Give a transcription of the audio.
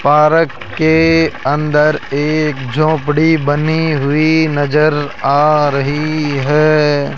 Park के अंदर एक झोपड़ी बनी हुई नजर आ रही है।